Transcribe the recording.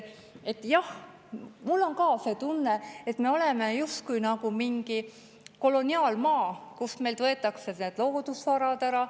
Jah, mul on ka see tunne, et me oleme justkui mingi koloniaalmaa, kus meilt võetakse loodusvarad ära.